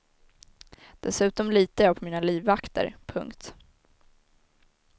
Dessutom litar jag på mina livvakter. punkt